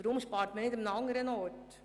Weshalb spart man nicht an anderer Stelle?